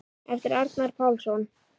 eftir Arnar Pálsson